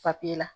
la